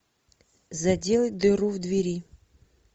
заделать дыру в двери